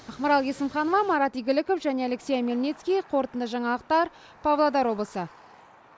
ақмарал есімханова марат игіліков және алексей омельницкий қорытынды жаңалықтар павлодар облысы